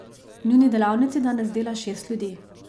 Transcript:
V njuni delavnici danes dela šest ljudi.